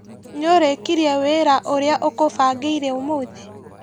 Nĩũrĩkirie wĩra ũrĩa ũkũbangĩire ũmũthĩ?